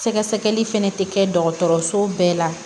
Sɛgɛsɛgɛli fɛnɛ tɛ kɛ dɔgɔtɔrɔso bɛɛ la